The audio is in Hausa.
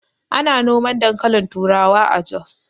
Ana noman dankalin turawa a Jos